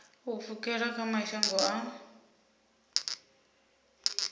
u pfukela kha mashango a